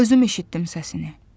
Özüm eşitdim səsini.